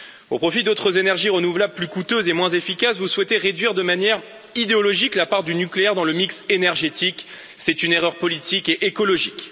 Au profit d'autres énergies renouvelables plus coûteuses et moins efficaces, vous souhaitez réduire de manière idéologique, la part du nucléaire dans le mix énergétique c'est une erreur politique et écologique.